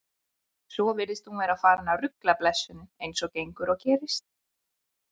Svo virðist hún vera farin að rugla blessunin, eins og gengur og gerist.